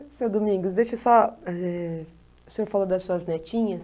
Senhor Domingos, deixe só eh... O senhor falou das suas netinhas.